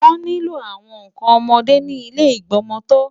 Wọ́n nílò àwọn nǹkan ọmọdé ní ilé ìgbọmọtọ́.